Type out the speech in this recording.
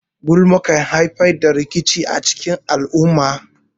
Gulma kan haifar da rikici a cikin al'umma.